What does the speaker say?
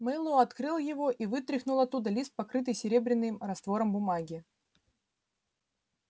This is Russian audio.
мэллоу открыл его и вытряхнул оттуда лист покрытой серебряным раствором бумаги